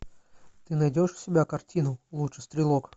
ты найдешь у себя картину лучший стрелок